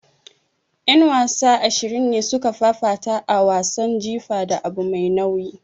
Yan wasa ashirin ne suka fafata a wasan jifa da abu mai nauyi.